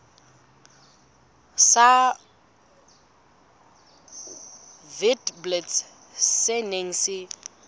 sa witblits se neng se